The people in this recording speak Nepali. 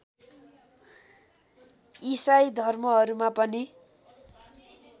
इसाई धर्महरूमा पनि